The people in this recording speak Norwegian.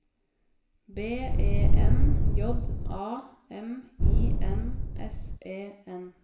B E N J A M I N S E N